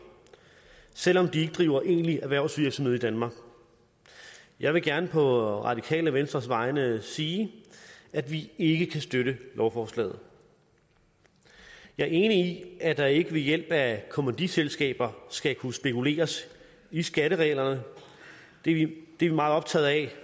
selv om de ikke driver egentlig erhvervsvirksomhed i danmark jeg vil gerne på radikale venstres vegne sige at vi ikke kan støtte lovforslaget jeg er enig i at der ikke ved hjælp af kommanditselskaber skal kunne spekuleres i skattereglerne det er vi meget optaget af